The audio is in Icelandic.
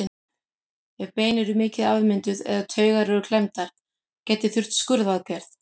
Ef bein eru mikið afmynduð eða taugar eru klemmdar gæti þurft skurðaðgerð.